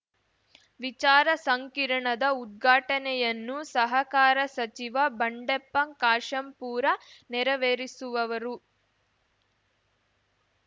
ವಿಚಾರ ಸಂಕಿರಣದ ಉದ್ಘಾಟನೆಯನ್ನು ಸಹಕಾರ ಸಚಿವ ಬಂಡೆಪ್ಪ ಕಾಶೆಂಪೂರ ನೆರವೇರಿಸುವವರು